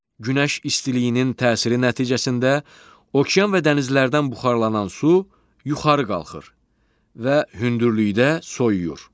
Günəş istiliyinin təsiri nəticəsində okean və dənizlərdən buxarlanan su yuxarı qalxır və hündürlükdə soyuyur.